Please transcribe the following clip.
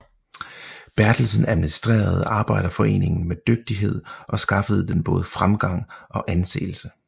Berthelsen administrerede Arbejderforeningen med dygtighed og skaffede den både fremgang og anseelse